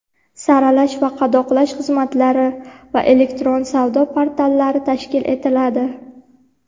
saralash va qadoqlash xizmatlari va elektron savdo portallari tashkil etiladi;.